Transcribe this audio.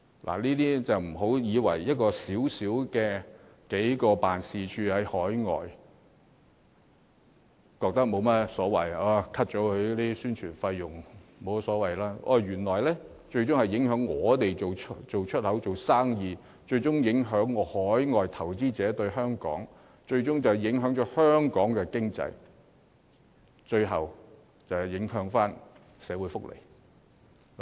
所以，不要以為削減數個駐海外經貿辦或其宣傳費用，沒有甚麼大不了，這最終原來會影響我們進行出口貿易、影響海外投資者對香港的感覺，更會影響香港經濟，最終波及社會福利。